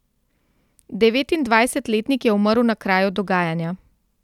Devetindvajsetletnik je umrl na kraju dogajanja.